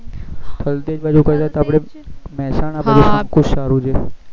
થલતેજ બાજુ કદાચ આપડે મેહસાણા બાજુ સંકુ સારું છે.